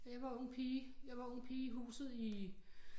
Jeg var ung pige i huset i